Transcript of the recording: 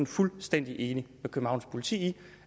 fuldstændig enig med københavns politi i